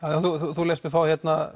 þú lést mig fá